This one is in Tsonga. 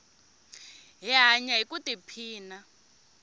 hi hanya ku i phina